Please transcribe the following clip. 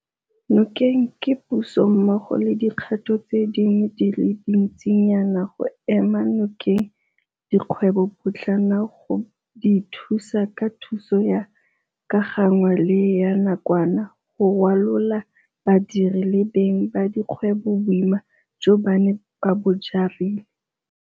Nokeng ke Puso mmogo le dikgato tse dingwe di le dintsinyana go ema nokeng dikgwebopotlana go di thusa ka thuso ya ka gangwe le ya nakwana go rwalola badiri le beng ba dikgwebo boima jo ba neng ba bo jarile.